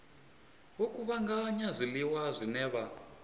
vho kuvhanganya zwiḽiwa zwine vha